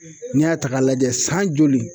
N'i y'a ta k'a lajɛ san joli